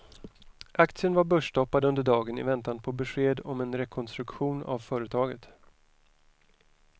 Aktien var börsstoppad under dagen i väntan på besked om en rekonstruktion av företaget.